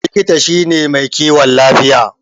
Likita shine mai kiwon lafiya.